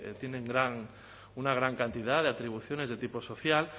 tienen una gran cantidad de atribuciones de tipo social